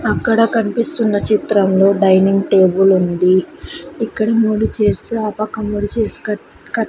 అక్కడ కన్పిస్తున్న చిత్రంలో డైనింగ్ టేబులుంది ఇక్కడ మూడు చెర్సు ఆ పక్క మూడు చేర్సు క కట్--